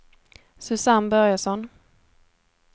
Susanne Börjesson